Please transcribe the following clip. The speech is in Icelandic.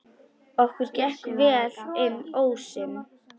Okkur gekk vel inn ósinn.